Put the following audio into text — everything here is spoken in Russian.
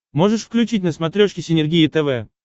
можешь включить на смотрешке синергия тв